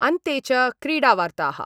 अन्ते च क्रीडा वार्ताः